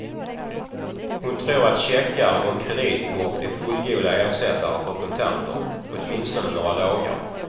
Hon tror att checkar och kreditkort är fullgoda ersättare för kontanter, åtminstone några dagar.